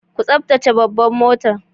Ku taftace babban motar.